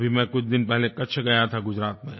अभी मैं कुछ दिन पहले कच्छ गया था गुजरात में